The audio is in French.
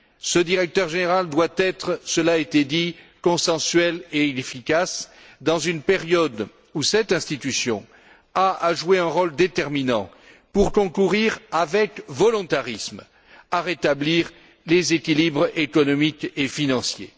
Ce directeur général doit être cela a été dit consensuel et efficace dans une période où cette institution a à jouer un rôle déterminant pour concourir avec volontarisme à rétablir les équilibres économiques et financiers.